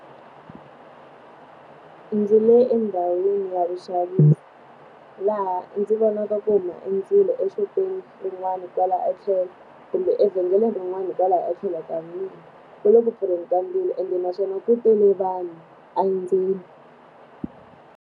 Ndzi le endhawini ya vuxavisi, laha ndzi vonaka ku huma endzilo exopeni rin'wani kwalaho tlhelo kumbe evhengeleni rin'wani hikwalaho etlhelo ka . Ku le ku pfurheni ka ndzilo ende naswona ku tele vanhu endzeni.